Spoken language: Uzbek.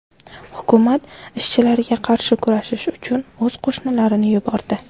Hukumat ishchilarga qarshi kurashish uchun o‘z qo‘shinlarini yubordi.